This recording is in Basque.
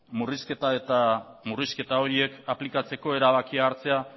murrizketa horiek aplikatzeko erabakia hartzea